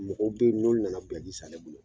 Mɔgɔw bɛ yen mi nana biyaki san ne bolo.